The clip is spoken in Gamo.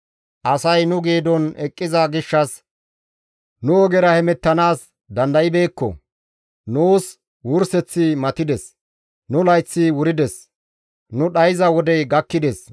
Asay nu geedon eqqiza gishshas nu ogera hemettanaas dandaybeekko; nuus wurseththi matides; nu layththi wurides; nu dhayza wodey gakkides.